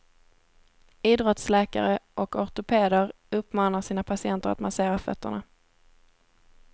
Idrottsläkare och ortopeder uppmanar sina patienter att massera fötterna.